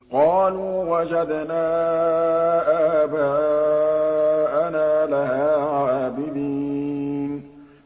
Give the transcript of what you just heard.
قَالُوا وَجَدْنَا آبَاءَنَا لَهَا عَابِدِينَ